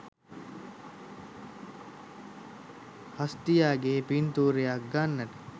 හස්තියාගේ පින්තූරයක් ගන්නට